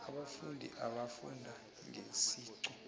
abafundi abafunda ngeziqu